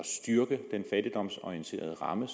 styrke den fattigdomsorienterede ramme